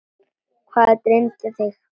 Hvað dreymdi þig?